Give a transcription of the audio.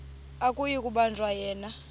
akuyi kubanjwa yena